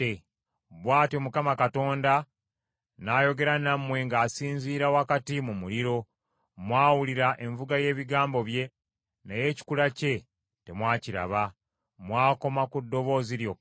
Bw’atyo Mukama Katonda n’ayogera nammwe ng’asinziira wakati mu muliro. Mwawulira envuga y’ebigambo bye, naye ekikula kye temwakiraba; mwakoma ku ddoboozi lyokka.